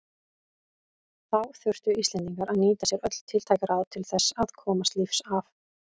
Þá þurftu Íslendingar að nýta sér öll tiltæk ráð til þess að komast lífs af.